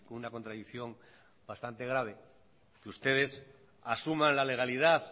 una contradicción bastante grave que ustedes asuman la legalidad